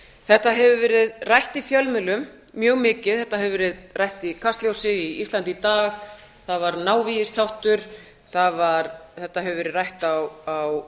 þetta hefur verið rætt í fjölmiðlum mjög mikið þetta hefur verið rætt í kastljósi í íslandi í dag það var návígisþáttur þetta hefur verið rætt á